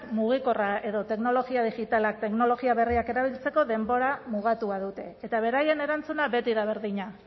mugikorra edo teknologia digitalak teknologia berriak erabiltzeko denbora mugatua dute eta beraien erantzuna beti da berdina